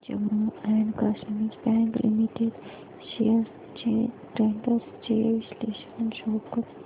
Jammu and Kashmir bank limited shares trends चे विश्लेषण show कर